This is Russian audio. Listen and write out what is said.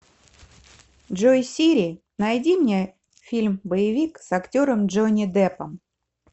джой сири найди мне фильм боевик с актером джонни деппом